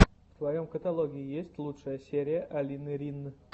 в твоем каталоге есть лучшая серия алины рин